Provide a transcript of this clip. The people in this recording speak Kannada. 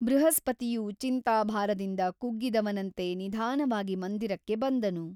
ಬೃಹಸ್ಪತಿಯು ಚಿಂತಾಭಾರದಿಂದ ಕುಗ್ಗಿದವನಂತೆ ನಿಧಾನವಾಗಿ ಮಂದಿರಕ್ಕೆ ಬಂದನು.